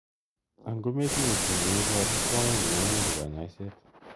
Angometinye ki neiboru komuch menyoru kanyoiset.